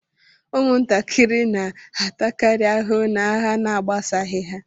Ụmụntakịrị na-atakari ahụhụ n'agha na-agbasaghi ha.